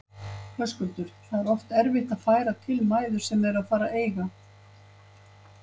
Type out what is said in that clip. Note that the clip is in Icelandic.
Höskuldur: Það er oft erfitt að færa til mæður sem eru að fara að eiga?